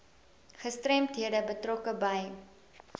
gestremdhede betrokke by